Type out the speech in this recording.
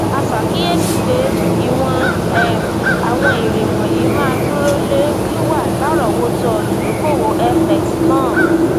a ṣe àkíyèsí pé ìwọn um àwọn èrè wọnyí máa dúró lé wíwà larowoto idokowo fx náà